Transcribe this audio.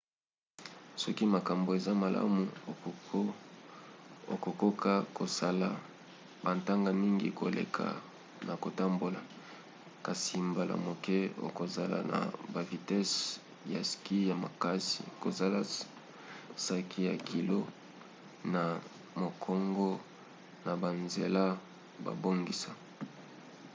soki makambo eza malamu okokoka kosala bantaka mingi koleka na kotambola – kasi mbala moke okozala na bavitese ya ski ya makasi kozanga saki ya kilo na mokongo na banzela babongisa